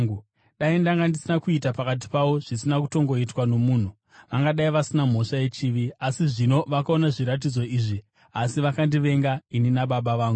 Dai ndanga ndisina kuita pakati pavo zvisina kutongoitwa nomunhu, vangadai vasina mhosva yechivi. Asi zvino vakaona zviratidzo izvi, asi vakandivenga ini naBaba vangu.